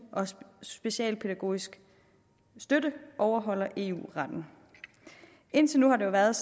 og specialpædagogisk støtte overholder eu retten indtil nu har det jo været